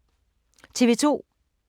TV 2